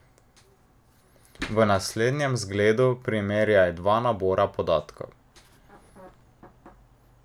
V naslednjem zgledu primerjaj dva nabora podatkov.